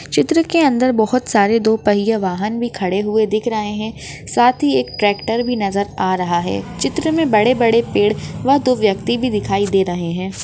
चित्र के अंदर बहुत सारे दो पय्ये वाहन भी खड़े हुए दिख रहे है साथ ही एक ट ट्रॅक्टर भी नजर आ रहा है चित्र मे बड़े बड़े पेड़ व दो व्यक्ति भी दिखाई दे रहे है।